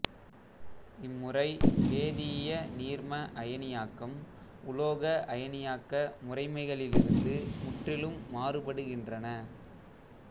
இம்முறை வேதியிய நீர்ம அயனியாக்கம் உலோக அயனியாக்க முறைமைகளிலிருந்து முற்றிலும் மாறுபடுகின்றன